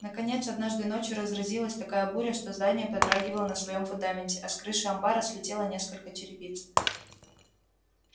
наконец однажды ночью разразилась такая буря что здание подрагивало на своём фундаменте а с крыши амбара слетело несколько черепиц